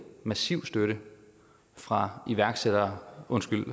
massiv støtte fra iværksættere